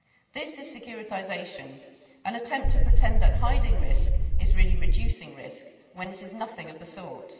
This is securitisation an attempt to pretend that hiding risk is really reducing risk, when it is nothing of the sort.